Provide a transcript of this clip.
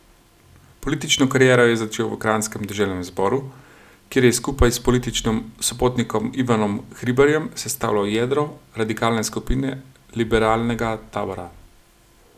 Politično kariero je začel v kranjskem deželnem zboru, kjer je skupaj s političnim sopotnikom Ivanom Hribarjem sestavljal jedro radikalne skupine liberalnega tabora.